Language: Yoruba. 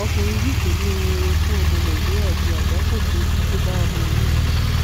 ọkùnrin yìí kò ní ohun rere fún ọmọ nàìjíríà ju àgbákò tó kó bá wọn yìí lọ